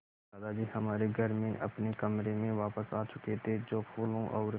दादाजी हमारे घर में अपने कमरे में वापस आ चुके थे जो फूलों और